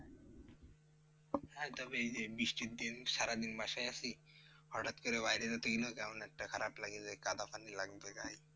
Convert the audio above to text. হ্যাঁ তবে এই যে বৃষ্টির দিন সারাদিন বাসায় আছি, হটাৎ করে বাইরে যেতে গেলে কেমন একটা খারাপ লাগে যে, কাদা পানি লাগবে গায়ে?